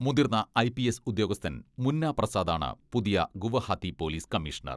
മുതിർന്ന I P S ഉദ്യോഗസ്ഥൻ മുന്ന പ്രസാദാണ് പുതിയ ഗുവഹാത്തി പോലിസ് കമ്മീഷണർ.